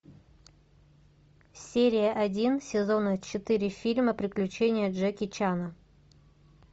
серия один сезона четыре фильма приключения джеки чана